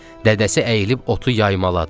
Dədəsi əyilib otu yaymaladı.